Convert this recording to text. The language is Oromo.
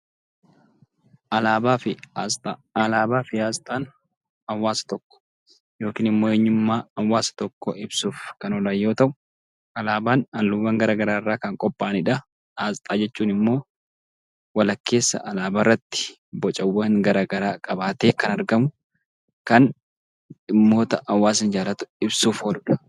Alaabaa fi aasxaa. Alaabaa fi aasxaan hawwaasa tokko yookiin immoo eenyummaa hawwaasa tokkoo ibsuuf kan oolan yoo ta'u; alaabaan halluuwwan garaa garaa irraa kan qopha'anii dha. Aasxaa jechuun immoo walakkeessa alaabaa irratti bocawwan garaa garaa qabaatee kan argamuu, kan dhimmoota hawwaasaa ibsuuf ooluudha.